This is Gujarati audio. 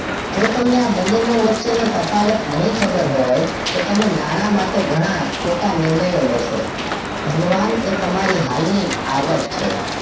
જો તમને આ બને વચ્ચે નો તફાવત નહિ ખબર હોય તો તમે નાણાં માટે ખોટ નિર્ણય લેશો ધનવાન એ તમારી હાલ ની આવક છે